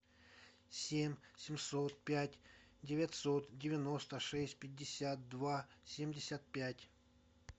семь семьсот пять девятьсот девяносто шесть пятьдесят два семьдесят пять